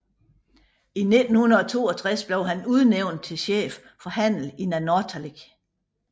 I 1962 blev han udnævnt til chef for handel i Nanortalik